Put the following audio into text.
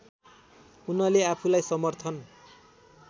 उनले आफूलाई समर्थन